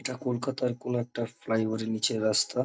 এটা কলকাতার কোনো একটা ফ্লাইওভার এর নীচের রাস্তা।